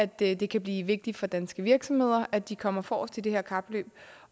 det det kan blive vigtigt for danske virksomheder at de kommer forrest i det her kapløb